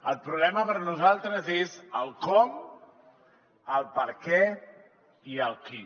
el problema per nosaltres és el com el perquè i el qui